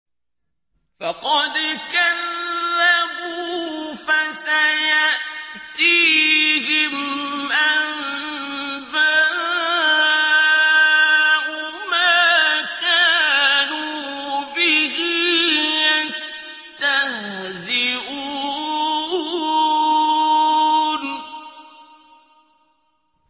فَقَدْ كَذَّبُوا فَسَيَأْتِيهِمْ أَنبَاءُ مَا كَانُوا بِهِ يَسْتَهْزِئُونَ